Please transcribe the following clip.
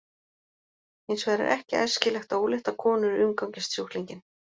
Hins vegar er ekki æskilegt að óléttar konur umgangist sjúklinginn.